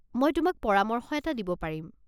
মই তোমাক পৰামৰ্শ এটা দিব পাৰিম।